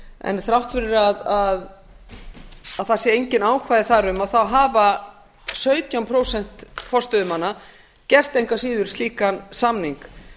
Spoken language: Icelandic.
en þrátt fyrir að það séu engin ákvæði þar um hafa sautján prósent forstöðumanna gert engu að síður slíkan samning